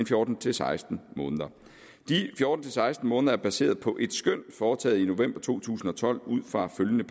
fjorten til seksten måneder de fjorten til seksten måneder er baseret på et skøn foretaget i november to tusind og tolv ud fra følgende